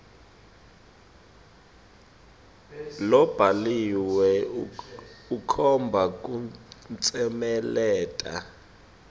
lobhaliwe ukhomba kutsemeleta